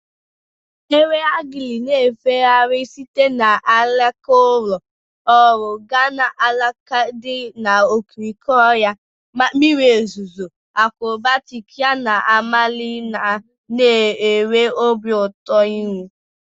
Enwe agile na-efegharị site n'alaka ụlọ ọrụ gaa n'alaka dị n'okirikiri ọhịa mmiri ozuzo, akrobatic ya na-amali ma na-enwe obi ụtọ ịhụ.